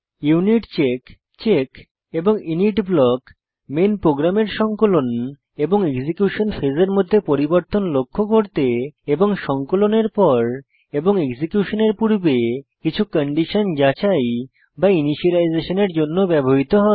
unit check check এবং init block main প্রোগ্রামের সংকলন এবং এক্সিকিউশন ফেজের মধ্যে পরিবর্তন লক্ষ্য করতে এবং সংকলনের পর এবং এক্সিকিউশনের পূর্বে কিছু কন্ডিশন যাচাই বা ইনিসিয়েলাইজেশনের জন্য ব্যবহৃত হয়